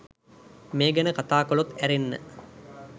මේ ගැන කතා කලොත් ඇරෙන්න